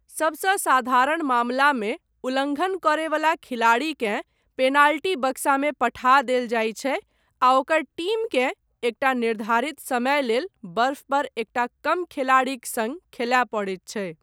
सभसँ साधारण मामलामे उल्लङ्घन करयवला खिलाड़ीकेँ पेनाल्टी बक्सामे पठा देल जायत छै आ ओकर टीमकेँ एकटा निर्धारित समय लेल बर्फ पर एकटा कम खिलाड़ीक सङ्ग खेलाय पड़ैत छै।